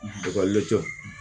Ekɔlidenw